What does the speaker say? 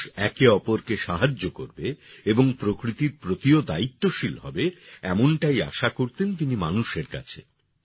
মানুষ একে অপরকে সাহায্য করবে এবং প্রকৃতির প্রতিও দায়িত্বশীল হবে এমনটাই আশা করতেন তিনি মানুষের কাছে